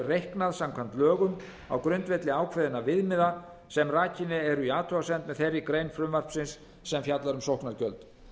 reiknað samkvæmt lögum á grundvelli ákveðinna viðmiða sem rakin eru í athugasemd með þeirri grein frumvarpsins sem fjallar um sóknargjöld